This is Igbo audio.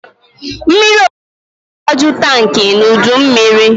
Mmiriozuzo ga-agbaju tankị n'udummiri.